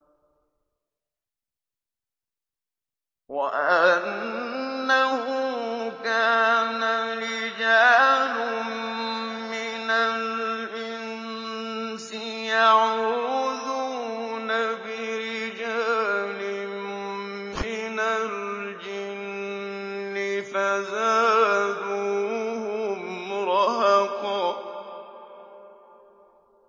وَأَنَّهُ كَانَ رِجَالٌ مِّنَ الْإِنسِ يَعُوذُونَ بِرِجَالٍ مِّنَ الْجِنِّ فَزَادُوهُمْ رَهَقًا